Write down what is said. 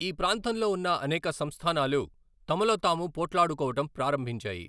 ఈ ప్రాంతంలో ఉన్న అనేక సంస్థానాలు తమలో తాము పోట్లాడుకోవడం ప్రారంభించాయి.